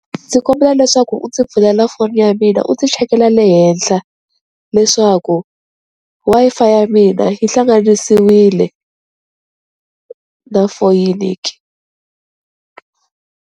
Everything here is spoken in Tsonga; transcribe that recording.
Ndzi kombela leswaku u ndzi pfulela foni ya mina u ndzi chekela le henhla leswaku Wi-Fi ya mina yi hlanganisiwile na foyini ke.